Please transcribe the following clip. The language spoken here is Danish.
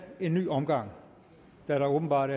en ny omgang da der åbenbart